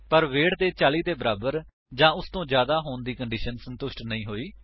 ਪਰ ਵੇਟ ਦੇ 40 ਦੇ ਬਰਾਬਰ ਜਾਂ ਉਸਤੋਂ ਜਿਆਦਾ ਹੋਣ ਦੀ ਕੰਡੀਸ਼ਨ ਸੰਤੁਸ਼ਟ ਨਹੀਂ ਹੋਈ